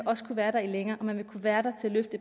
også kunne være der længere og den vil kunne være der til